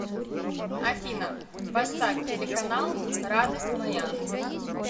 афина поставь телеканал радость моя